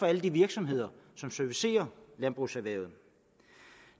alle de virksomheder som servicerer landbrugserhvervet